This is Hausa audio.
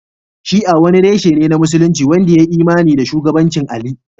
Shi'a wani reshe ne na Musulunci wanda ya yi imani da shugabancin Ali